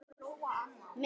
Meðal þess er